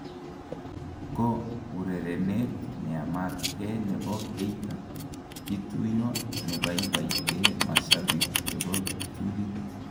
Ko urerenet neamat Kee nebo Keita kituyo nebaibaite mashabik chebo kiptulit.